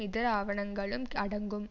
இதர ஆவணங்களும் அடங்கும்